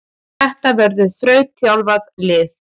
Þetta verður þrautþjálfað lið.